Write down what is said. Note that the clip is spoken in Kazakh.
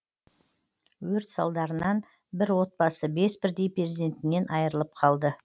өрт салдарынан бір отбасы бес бірдей перзентінен айырылып қалды